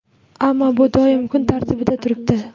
Ammo bu doimo kun tartibida turibdi.